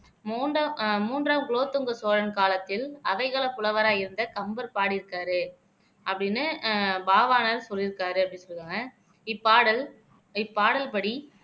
மூன்றாம் ஆஹ் மூன்றாம் குலோத்துங்க சோழன் காலத்தில் அவைகள புலவராய் இருந்த கம்பர் பாடியிருக்காரு அப்படின்னு ஆஹ் பாவாணர் சொல்லிருக்காரு அப்படின்னு சொல்லுவாங்க இப்பாடல் இப்பாடல் படி